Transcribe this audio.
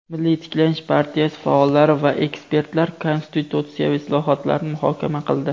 "Milliy tiklanish" partiyasi faollari va ekspertlar konstitutsiyaviy islohotlarni muhokama qildi.